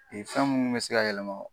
Ee fɛn munnu be se ka yɛlɛma